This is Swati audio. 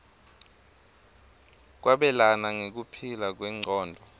kwabelana nekuphila kwengcondvo